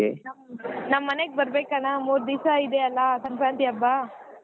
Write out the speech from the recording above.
ನಮ್ ಮನೆಗ್ ಬರಬೇಕ್ ಅಣ್ಣಾ ಮೂರ್ ದಿವಸ ಇದೆ ಅಲ್ಲಾ ಸಂಕ್ರಾಂತಿ ಹಬ್ಬ.